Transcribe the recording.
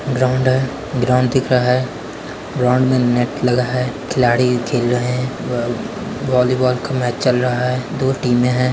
Ground है ground दिख रहा है। ग्राउड में नेट लगा है खिलाड़ी खेल रहे है वहती बहत वॉलीबॉल का मैच चल रहा है दो टीम है।